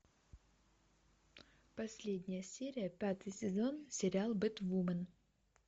последняя серия пятый сезон сериал бэтвумен